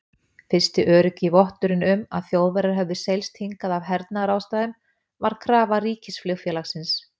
Fyrsti öruggi votturinn um, að Þjóðverjar hefðu seilst hingað af hernaðarástæðum, væri krafa ríkisflugfélagsins